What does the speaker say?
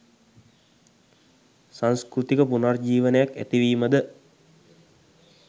සංස්කෘතික පුනර්ජීවනයක් ඇතිවීම ද